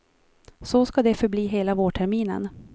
Så ska det förbli hela vårterminen.